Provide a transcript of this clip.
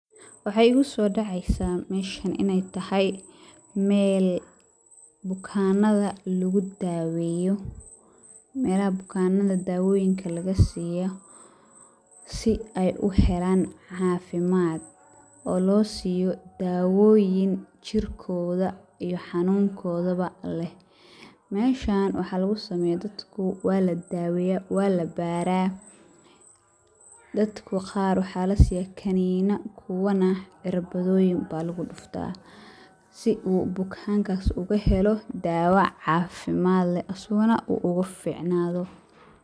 Waxaa igu soo daceysa meeshan inaay tahay meel bukanada lagu daweeyo, meelaha bukaanada dawooyinka laga siiyo si aay uhelaan cafimaad oo loo siiyo daawoyin jirkooda iyo xanunnkooda leh, meeshan waxa lagu sameeya dadku waa ladaweeya waa la baara, dadka qaar waxaa lasiiya kaniina kuwa qaar na cirbada baa lagu dufta si uu bukaankaas uu uhelo daawo cafimaad leh asagana uu ugu ficnaado.